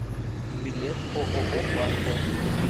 билет ооо панда